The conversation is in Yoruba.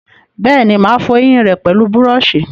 Bẹ́ẹ̀ni, mà á fọ ẹyìn rẹ pẹlú búrọ̀sì